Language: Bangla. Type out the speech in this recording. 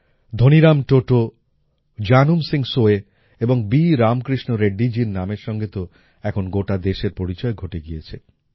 ধনীরাম টোটো জানুম সিং সোয় এবং বি রামকৃষ্ণ রেড্ডিজীর নামের সঙ্গে তো এখন গোটা দেশের পরিচয় ঘটে গিয়েছে